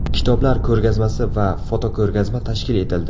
Kitoblar ko‘rgazmasi va fotoko‘rgazma tashkil etildi.